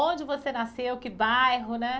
Onde você nasceu, que bairro, né?